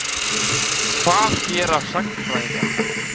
Hvað gera sagnfræðingar?